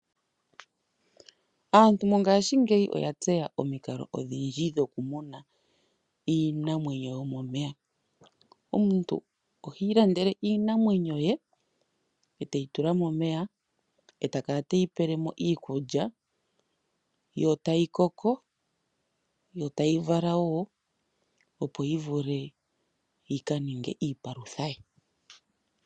Aantu mongashingeyi oya tseya omikalo odhindji dho ku muna iinamwenyo yomomeya. Omuntu ohii landele iinamwenyo ye e teyi tula momeya, ee ta kala teyi pele mo iikulya, yo tayi koko, yo tayi vala woo opo yi vule yi kaninge iipalutha